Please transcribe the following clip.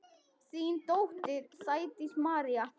Þín dóttir, Sædís María.